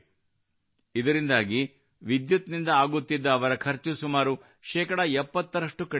ಇದರಿಂದಾಗಿ ವಿದ್ಯುತ್ ನಿಂದಾಗುತ್ತಿದ್ದ ಅವರ ಖರ್ಚು ಸುಮಾರು ಶೇಕಡಾ 70 ರಷ್ಟು ಕಡಿಮೆಯಾಗಿದೆ